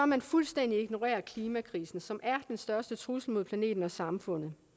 man fuldstændig ignorerer klimakrisen som er den største trussel mod planeten og samfundet